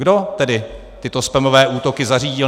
Kdo tedy tyto spamové útoky zařídil?